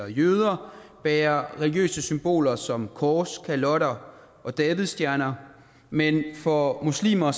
og jøder bærer religiøse symboler som kors kalotter og davidsstjerner men for muslimer